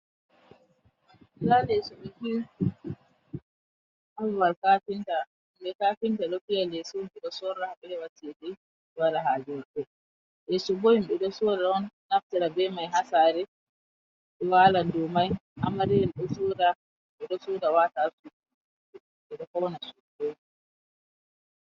Nɗa leso ɓe fiyi, ha babal kafinta, kafinta ɗo fiya leso ji ɗo sorra ɗo heɓa cheɗe waɗa ha jije maɓɓe, leso himɓe sorra on, naftira be mai ha saare, ɓe walan ɗou mai, amariya en ɗo soɗa, ɓeɗo soɗa wata ha suɗu ji ɓeɗo fauna sudu.